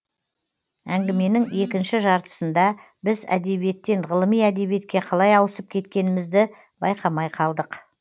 әңгіменің екінші жартысында біз әдебиеттен ғылыми әдебиетке қалай ауысып кеткенімізді байқамай қалдық